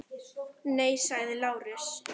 Nei, sagði Lárus.